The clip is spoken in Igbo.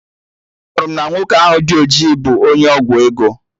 Anụrụ m na nwoke ahụ dị ojii bụ onye ọgwụ ego